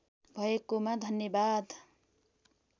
भएकोमा धन्यवाद